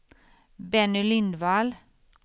Benny Lindvall